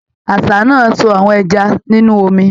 Àṣá náà ń sọ́ àwọn ẹja nínú omi